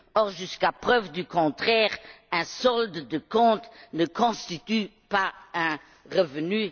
Or, jusqu'à preuve du contraire, un solde de compte ne constitue pas un revenu.